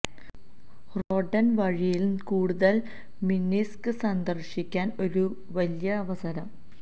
Hrodna വഴിയിൽ ന് കൂടുതൽ മിന്സ്ക് സന്ദർശിക്കാൻ ഒരു വലിയ അവസരം